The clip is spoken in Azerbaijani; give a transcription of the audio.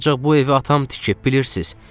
Ancaq bu evi atam tikib, bilirsiz.